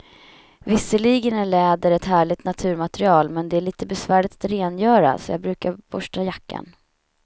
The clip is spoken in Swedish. Visserligen är läder ett härligt naturmaterial, men det är lite besvärligt att rengöra, så jag brukar borsta jackan.